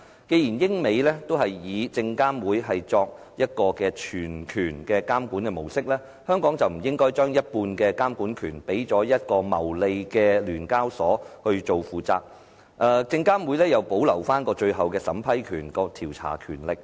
既然英、美都以證監會作全權監管模式，香港便不應將一半監管權給予牟利的聯交所負責，證監會又保留最後的審批、調查權力。